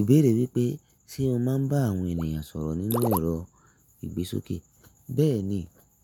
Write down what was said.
Ìbéèrè wípé, ṣe o máa ń bá àwọn ènìyàn sọ̀rọ̀ nínú ẹ̀rọ ìgbésókè? Bẹ́ẹ̀ni,